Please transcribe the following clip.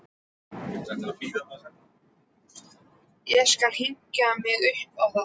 Ég skal hengja mig upp á það!